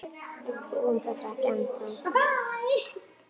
Við trúum þessu ekki ennþá.